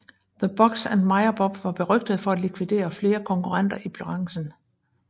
The Bugs and Meyer Mob var berygtede for at likvidere flere konkurrenter i branchen